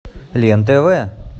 лен тв